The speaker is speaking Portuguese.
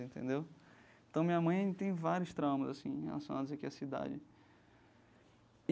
Entendeu então, minha mãe tem vários traumas assim relacionados aqui à cidade.